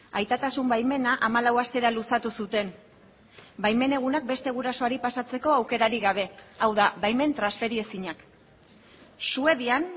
aitatasun baimena hamalau astera luzatu zuten baimen egunak beste gurasoari pasatzeko aukerarik gabe hau da baimen transferiezinak suedian